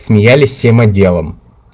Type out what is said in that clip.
смеялись всем отделом